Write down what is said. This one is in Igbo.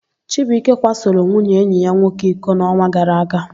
Chibuike kwasoro nwunye enyi ya nwoke iko n'ọnwa gara aga.